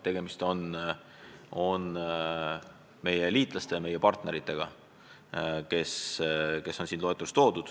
Tegemist on meie liitlaste ja meie partneritega.